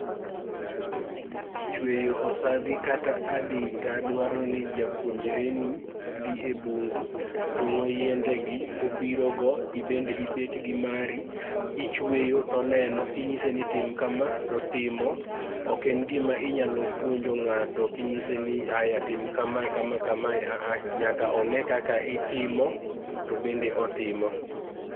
Chweyo osadhi kata adita dwaroni japuonjreni dhi e bungu, tong'o yiendegi obirogo, ibende ibet gi mari ichweyo to oneno. Inyise ni tim kama to otimo. Ok en gima inyalo puonjo ng'ato kinyiseni aya tim kama kama kama ahah, nyaka oneno kaka itimo to obende otimo.